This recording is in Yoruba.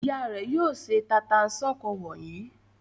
Ìyá rẹ̀ yóò se tata-n-sánkọ wọ̀nyí.